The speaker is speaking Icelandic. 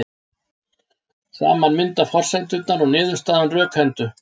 Saman mynda forsendurnar og niðurstaðan rökhendu.